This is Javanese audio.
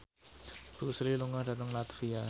Bruce Lee lunga dhateng latvia